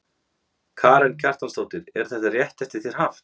Karen Kjartansdóttir: Er þetta rétt eftir þér haft?